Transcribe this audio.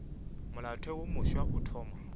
molaotheo wo mofsa o thoma